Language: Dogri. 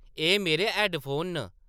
“एह्‌‌ मेरे हैड्डफोन न ।